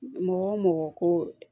Mɔgɔ o mɔgɔ ko